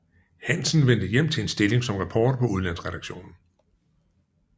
Hansen vendte hjem til en stilling som reporter på udlandsredaktionen